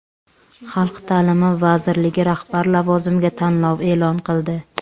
Xalq ta’limi vazirligi rahbar lavozimiga tanlov e’lon qildi.